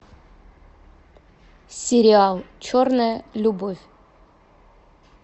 сериал черная любовь